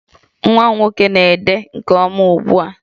Nwa m nwoke na-ede nke ọma ugbu a